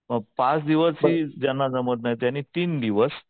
मग पाच दिवसही ज्यांना जमत नाही त्यांनी तीन दिवस